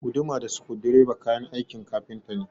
Guduma da sukudireba kayan aikin kafinta ne